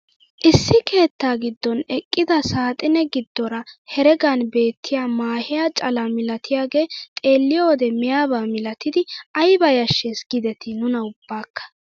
Issi keettaa giddon eqqida saaxine giddoora heregan beettiyaa maahiyaa calaa milatiyaagee xeelliyoo wode miyaba milatidi ayba yashshes gidetii nuna ubbaaka!